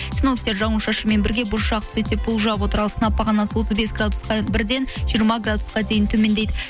синоптиктер жауын шашынмен бірге бұршақ түседі деп болжап отыр ал сынап бағанасы отыз бес граудсқа бірден жиырма градусқа дейін төмендейді